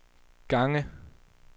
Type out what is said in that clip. gange